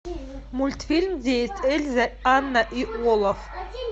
мультфильм где есть эльза анна и олаф